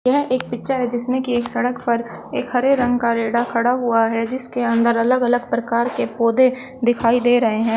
यह एक पिक्चर है जिसमें की सड़क पर एक हरे रंग का रेडा खड़ा हुआ है जिसके अंदर अलग अलग प्रकार के पौधे दिखाई दे रहे हैं।